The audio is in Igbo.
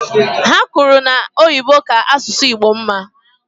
Ha kwuru na Oyibo ka asụsụ Igbo mma.